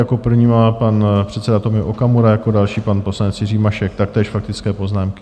Jako první má pan předseda Tomio Okamura, jako další pan poslanec Jiří Mašek, taktéž faktické poznámky.